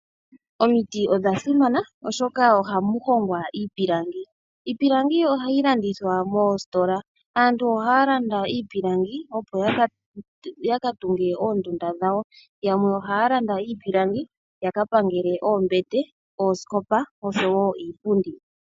Omiti odha simana oshoka ohamu hongwa iipilangi. Iipilangi ohayi landithwa moositola. Aantu ohaya landa iipilangi ya katunge oondunda dhawo. Yamwe ohaya landa iipilangi ya ka pangele oombete, oosikopa oshowo iipundi.